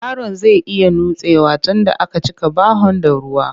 Yaron zai iya nutsewa tunda a ka cika bahon da ruwa